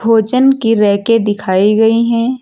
भोजन की रैके दिखाई गई हैं।